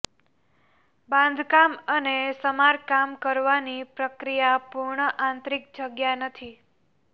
બાંધકામ અને સમારકામ કરવાની પ્રક્રિયા પૂર્ણ આંતરિક જગ્યા નથી